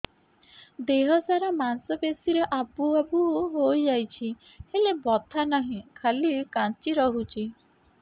ଦେହ ସାରା ମାଂସ ପେଷି ରେ ଆବୁ ଆବୁ ହୋଇଯାଇଛି ହେଲେ ବଥା ନାହିଁ ଖାଲି କାଞ୍ଚି ରଖୁଛି